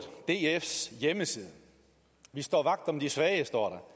dfs hjemmeside vi står vagt om de svage står